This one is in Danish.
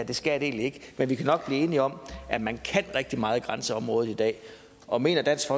det skal det egentlig ikke men vi kan nok blive enige om at man kan rigtig meget i grænseområdet i dag og mener dansk